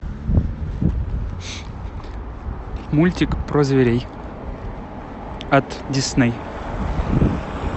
мультик про зверей от дисней